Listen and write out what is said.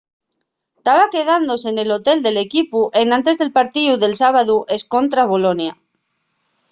taba quedándose nel hotel del equipu enantes del partíu del sábadu escontra'l bolonia